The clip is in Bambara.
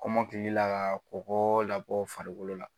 Kɔmɔkili la ka kɔkɔ labɔ farikolo la